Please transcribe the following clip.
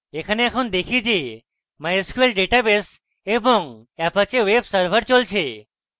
এখানে এখন দেখি যে mysql database এবং apache web server চলছে